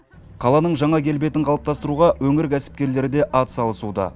қаланың жаңа келбетін қалыптастыруға өңір кәсіпкерлері де атсалысуда